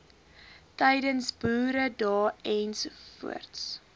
tydens boeredae ens